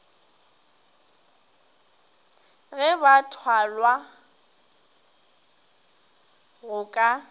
ga ba thwalwa go ka